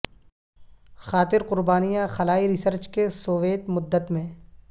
خاطر قربانیاں خلائی ریسرچ کے سوویت مدت میں